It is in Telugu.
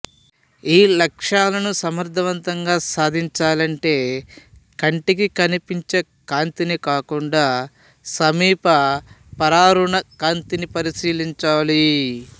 ఈ లక్ష్యాలను సమర్థవంతంగా సాధించాలంటే కంటికి కనిపించే కాంతిని కాకుండా సమీపపరారుణ కాంతిని పరిశీలించాలి